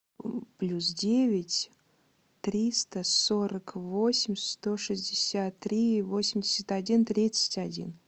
плюс девять триста сорок восемь сто шестьдесят три восемьдесят один тридцать один